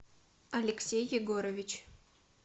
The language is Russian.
алексей егорович